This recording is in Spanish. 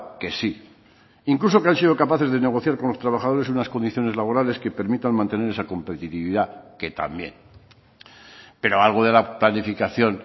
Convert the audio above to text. que sí incluso que han sido capaces de negociar con los trabajadores unas condiciones laborales que permitan mantener esa competitividad que también pero algo de la planificación